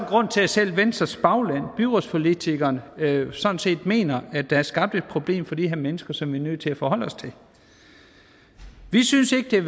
grund til at selv venstres bagland byrådspolitikerne sådan set mener at der er skabt et problem for de her mennesker som vi er nødt til at forholde os til vi synes ikke det er